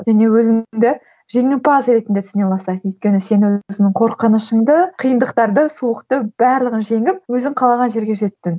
және өзіңді жеңімпаз ретінде түсіне бастайсың өйткені сен өзіңнің қорқынышыңды қиындықтарды суықты барлығын жеңіп өзің қалаған жерге жеттің